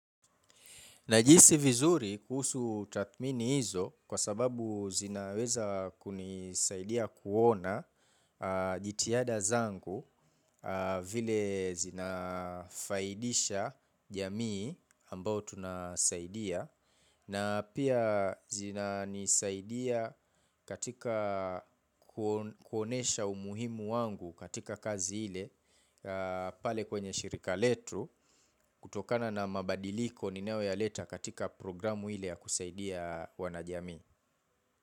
Najihisi vizuri kuhusu tathmini hizo kwa sababu zinaweza kunisaidia kuona jitihada zangu vile zinafaidisha jamii ambao tunasaidia. Na pia zina nisaidia katika kuonesha umuhimu wangu katika kazi ile pale kwenye shirika letu kutokana na mabadiliko ninayoyaleta katika programu ile ya kusaidia wana jamii.